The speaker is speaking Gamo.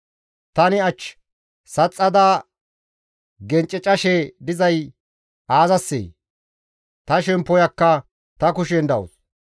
«Tani ach saxxada gencecashe dizay aazassee? Ta shemppoyakka ta kushen dawus.